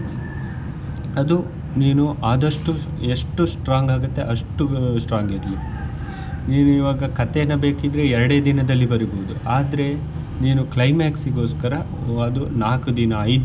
ಅದು ನೀನು ಆದಷ್ಟು ಎಷ್ಟು strong ಆಗತ್ತೆ ಅಷ್ಟು strong ಇರ್ಲಿ ನೀವ್ ಈವಾಗ ಕಥೆನಾ ಬೇಕಿದ್ರೆ ಎರಡೇ ದಿನದಲ್ಲಿ ಬರಿಬೋದು ಆದ್ರೆ ನೀನು climax ಗೊಸ್ಕರ ಅದು ನಾಕು ದಿನ ಐದು ದಿನ.